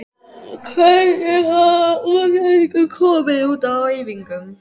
Hvernig hafa útlendingarnir komið út á æfingum?